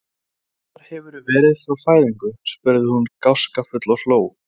Hvar hefurðu verið frá fæðingu? spurði hún gáskafull og hló.